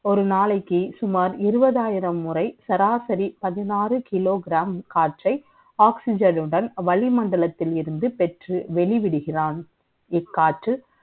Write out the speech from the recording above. ஒரு நாளைக்கு சுமார் இருபது ஆய்ரம் முறை சராசரி பதிநாரு கிலோ கிராம் காற்றை Oxygen உடன் வளிமண்டபத்தில் இருந்து பெற்று வெளியிடுகிறான் இக்காற்று